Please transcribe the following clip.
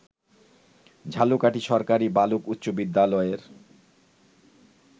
ঝালকাঠী সরকারি বালক উচ্চ বিদ্যালয়ের